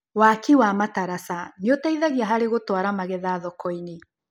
Waki wa mataraca nĩũteithagia harĩ gũtwara megetha thokoinĩ.